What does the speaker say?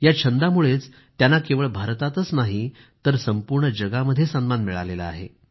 या छंदामुळेच त्यांना केवळ भारतातच नाही तर संपूर्ण जगामध्ये सन्मान मिळाला आहे